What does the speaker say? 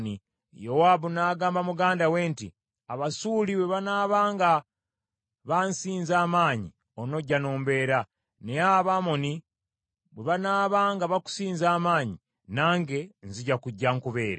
Yowaabu n’agamba muganda we nti, “Abasuuli bwe banaaba nga bansinza amaanyi, onojja n’ombeera, naye Abamoni bwe banaaba nga bakusinza amaanyi nange nzija kujja nkubeere.